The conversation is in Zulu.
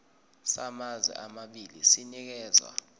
samazwe amabili sinikezwa